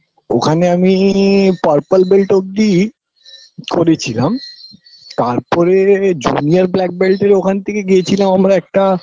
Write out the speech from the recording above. ওখানে আমিই purple belt অব্দি করেছিলাম তারপরে junior black belt -এর ওখান থেকে গিয়েছিলাম আমরা একটা